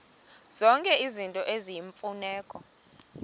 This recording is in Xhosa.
zonke izinto eziyimfuneko